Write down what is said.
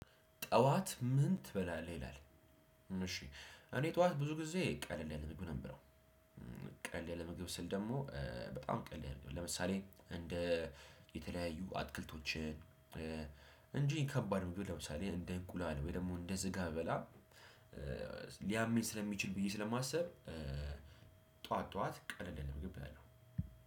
ጠዋት ምን ትበላለህ ይላል? እሺ እኔ ጠዋት ብዙ ጊዜ ቀለል ያለ ምግብ ነው ምበላው። ቀለል ለምግብ ስል ደግሞ በጣም ቀለል ያለ ለምሳሌ እንደ የተለያዩ አትክልቶችን። ከባድ ምግብ ለምሳሌ እንደ እንቁላል ወይም ደግሞ ስጋ አልበላም ሊያመኝ ስለሚችል ብዬ ስለማስብ። ጠዋት ጠዋት ቀለል ያለ ምግብ እበላለው።